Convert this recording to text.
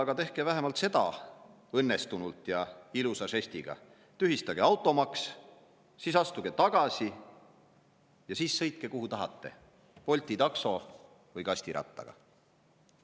Aga tehke seda vähemalt õnnestunult ja ilusa žestiga: tühistage automaks, siis astuge tagasi ja sõitke, kuhu tahate, Bolti takso või kastirattaga.